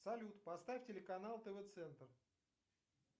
салют поставь телеканал тв центр